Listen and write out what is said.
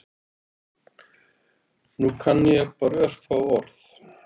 Núna kann ég bara örfá orð